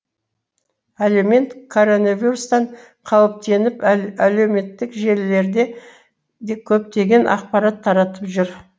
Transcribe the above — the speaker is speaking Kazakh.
әлеумет коронавирустан қауіптеніп әлеуметтік желілерде де көптеген ақпарат таратып жүр